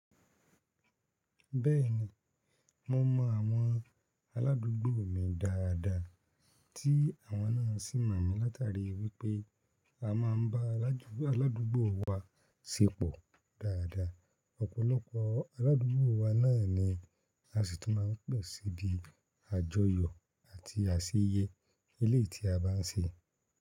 Bẹ́ẹ̀ni, mo mọ àwọn aládùúgbò mi dáadáa tí àwọn náà sì mọ̀ mi látàrí wípẹ́ a máa ń bá aládùúgbò wa ṣépọ̀ dáadáa. Ọ̀pọ̀lọpọ̀ aládùúgbò wa náà ni a sì tún máa ń pẹ̀ síi ìdí àjọyọ̀ àti àsẹ́yẹ eléyi tí a bá ń ṣe.